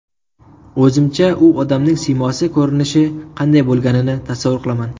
O‘zimcha u odamning siymosi, ko‘rinishi qanday bo‘lganligini tasavvur qilaman.